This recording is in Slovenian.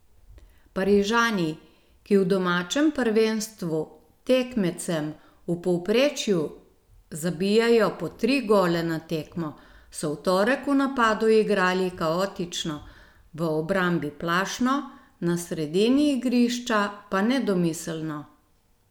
Parižani, ki v domačem prvenstvu tekmecem v povprečju zabijajo po tri gole na tekmo, so v torek v napadu igrali kaotično, v obrambi plašno, na sredini igrišča pa nedomiselno.